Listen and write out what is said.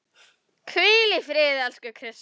Hvíl í friði, elsku Krissa.